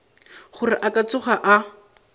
gore a ka tsoga a